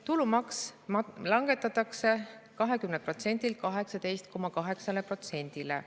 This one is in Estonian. Tulumaks langetatakse 20%-lt 18,8%‑le.